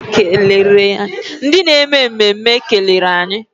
Ndị na-eme mmemme kelere anyị.